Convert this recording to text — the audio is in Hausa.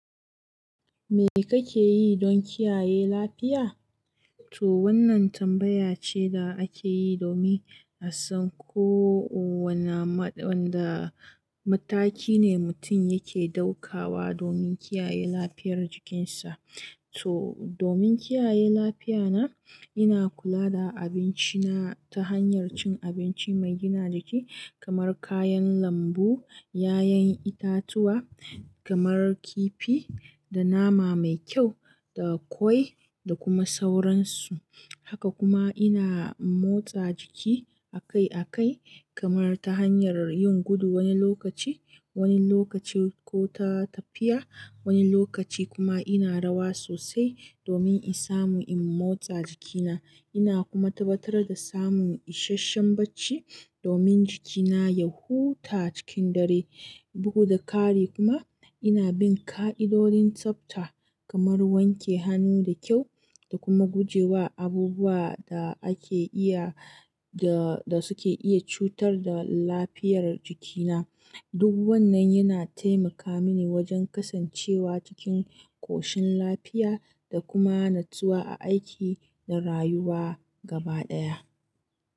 Me kake yi don kiyaye lafiya? To wannan tambaya ce da ake yi domin a san ko wanna ma-- wanda mataki ne mutum yake ɗaukawa domin kiyaye lafiyar jikinsa. To domin kiyaye lafiya na, ina kula da abinci na ta hanyar cin abinci mai gina jiki kamar kayan lambu, 'ya'yan itatuwa kamar kifi da nama mai kyau da ƙwai da kuma sauransu. Haka kuma ina motsa jiki akai akai kamar ta hanyar yin gudu wani lokaci, wani lokaci ko ta tafiya, wani lokaci kuma ina rawa sosai domin in samu in motsa jikina. Ina kuma tabbatar da samun isasshen bacci domin jikina ya huta cikin dare. Bugu da ƙari kuma ina bin ƙa'idodin tsafta kamar wanke hannu da kyau da kuma guje wa abubuwa da ake iya da, da suke iya cutar da lafiyar jikina. Duk wannan yana taimaka mini wajen kasancewa cikin koshin lafiya da kuma natsuwa a aiki da rayuwa gaba ɗaya.